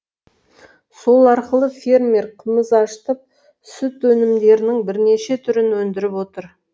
сол арқылы фермер қымыз ашытып сүт өнімдерінің бірнеше түрін өндіріп отыр